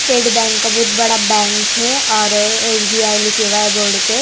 State bank का बहुत बड़ा बैंक है और एस_बी_आई लिखे हुआ है बॉर्ड पे।